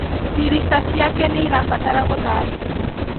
Dirica ciake irabatara gũthambio